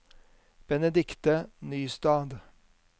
Benedikte Nystad